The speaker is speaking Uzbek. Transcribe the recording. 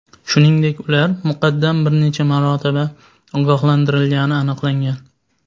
shuningdek ular muqaddam bir necha marotaba ogohlantirilgani aniqlangan.